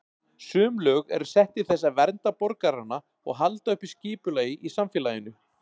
Sum lög eru sett til þess að vernda borgarana og halda uppi skipulagi í samfélaginu.